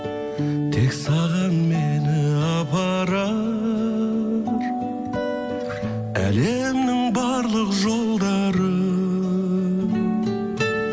тек саған мені апарар әлемнің барлық жолдары